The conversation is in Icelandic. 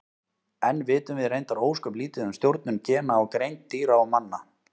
Enn vitum við reyndar ósköp lítið um stjórnun gena á greind dýra og manna.